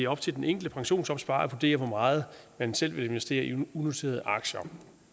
op til den enkelte pensionsopsparer at vurdere hvor meget man selv vil investere i unoterede aktier